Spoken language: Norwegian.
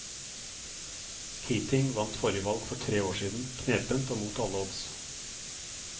Keating vant forrige valg for tre år siden, knepent og mot alle odds.